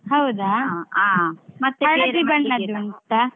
ಹೌದಾ? ಉಂಟಾ ?